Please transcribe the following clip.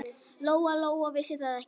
Lóa-Lóa vissi það ekki.